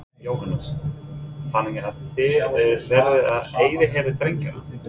Jóhannes: Þannig að það er verið að yfirheyra drengina?